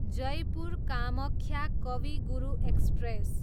Jaipur Kamakhya Kavi Guru express